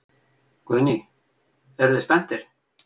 Guðný: Eruð þið spenntir?